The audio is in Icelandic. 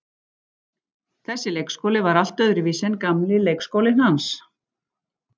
Þessi leikskóli var allt öðruvísi en gamli leikskólinn hans.